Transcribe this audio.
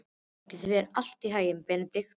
Gangi þér allt í haginn, Benidikta.